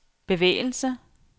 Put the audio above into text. bevægelse